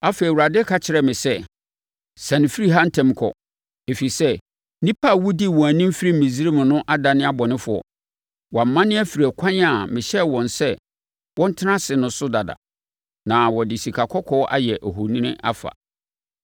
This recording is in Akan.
Afei, Awurade ka kyerɛɛ me sɛ, “Siane firi ha ntɛm kɔ, ɛfiri sɛ, nnipa a wodii wɔn anim firi Misraim no adane abɔnefoɔ. Wɔamane afiri ɛkwan a mehyɛɛ wɔn sɛ wɔntena ase no so dada, na wɔde sikakɔkɔɔ ayɛ ohoni afa.”